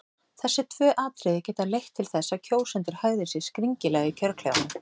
Þessi tvö atriði geta leitt til þess að kjósendur hegði sér skringilega í kjörklefanum.